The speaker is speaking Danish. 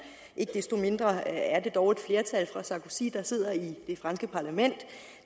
ikke desto mindre er det dog et flertal for sarkozy der sidder i det franske parlament